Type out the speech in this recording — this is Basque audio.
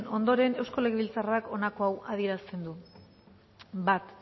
ondoren eusko legebiltzarrak honako hau adierazten du bat